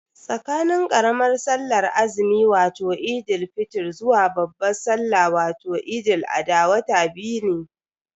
Tsakanin karamar sallar azumi wato Eid fitr zuwa babban salla wato Eid al-adha wata biyu ne.